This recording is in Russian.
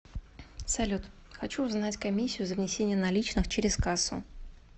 салют хочу узнать комиссию за внесение наличных через кассу